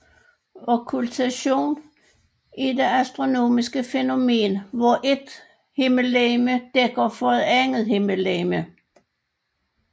Okkultation er det astronomiske fænomen hvor et himmellegeme dækker for et andet himmellegeme